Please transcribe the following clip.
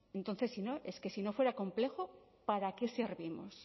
entonces es que si no fuera complejo para qué servimos